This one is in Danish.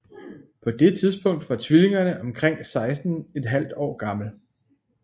På det tidspunkt var tvillingerne omkring 16 ½ år gammel